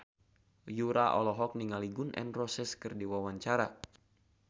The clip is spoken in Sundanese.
Yura olohok ningali Gun N Roses keur diwawancara